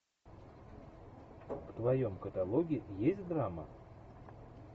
в твоем каталоге есть драма